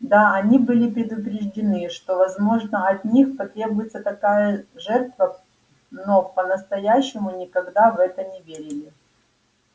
да они были предупреждены что возможно от них потребуется такая жертва но по-настоящему никогда в это не верили